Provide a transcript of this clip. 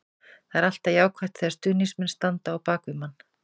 Það er alltaf jákvætt þegar stuðningsmenn standa á bak við manni.